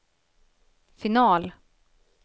final